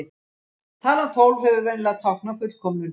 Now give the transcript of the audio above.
Talan tólf hefur venjulega táknað fullkomnum.